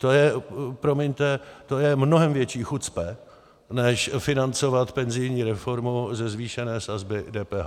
To je, promiňte, to je mnohem větší chucpe než financovat penzijní reformu ze zvýšené sazby DPH.